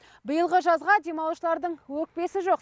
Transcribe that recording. биылғы жазға демалушылардың өкпесі жоқ